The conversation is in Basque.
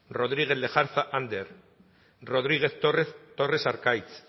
rodriguez lejarza ander rodriguez torres arkaitz